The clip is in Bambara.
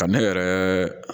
Ka ne yɛrɛ